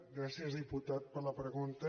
gràcies diputat per la pregunta